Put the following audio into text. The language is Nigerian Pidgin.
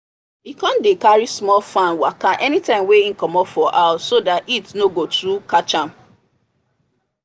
he come dey carry small fan waka anytime wey he comot for house so that heat no go too catcham